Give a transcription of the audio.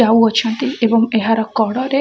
ଯାଉଅଛନ୍ତି ଏବଂ ଏହାର କଡ଼ରେ --